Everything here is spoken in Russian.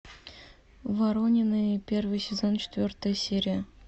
воронины первый сезон четвертая серия